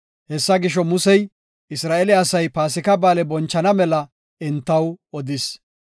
Hessa gisho, Musey Isra7eele asay Paasika Ba7aale bonchana mela entaw odis.